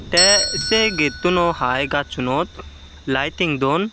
te se gettuno hai gazsunot laiting duon.